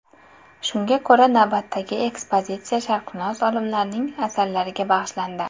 Shunga ko‘ra, navbatdagi ekspozitsiya sharqshunos olimlarning asarlariga bag‘ishlandi.